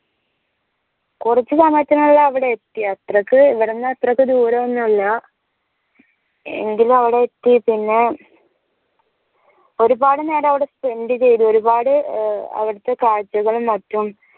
കുറച്ചു സമയത്തിനുള്ളില് അവടെ എത്തി അത്രക്ക് ഇവ്ടെന്ന് അത്രക്ക് ദൂരമൊന്നുമില്ല എങ്കിലും അവടെ എത്തി പിന്നെ ഒരുപാട് നേരം അവടെ spend ചെയ്തു ഒരുപാട് ഏർ അവ്ടെതെ കാഴ്ചകളും മറ്റും